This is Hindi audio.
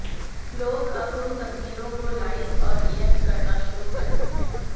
लोग अब उन तस्वीरों को लाइक और रियेक्ट करना शुरू करते है